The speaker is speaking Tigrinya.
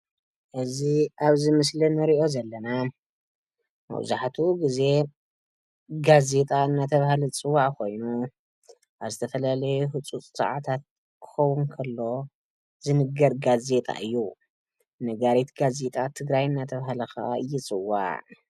ኣብዚ ምስሊ እንሪኦ ዘለና መብዛሕትኡ ግዜ ጋዜጣ እናተብሃለ ዝፅዋዕ ኮይኑ፤ ኣብ ዝተፈላለየ ህፁፅ ሰዓታት ክኸውን ከሎ ዝንገር ጋዜጣ እዩ፡፡ ነጋሪት ጋዜጣ ትግራይ እናተብሃለ ከዓ ይፅዋዕ፡፡